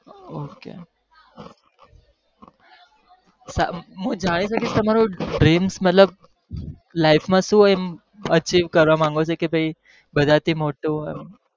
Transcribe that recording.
Okay મુ જાણી સકીસ મતલબ તમારું dream મતલબ life માં શું એમ achieve કરવા માગો છો કે પહી બધાં થી મોટું હોય એમ